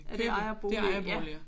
Er det ikke ejerboliger?